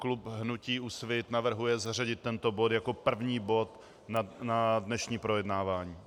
Klub hnutí Úsvit navrhuje zařadit tento bod jako první bod na dnešní projednávání.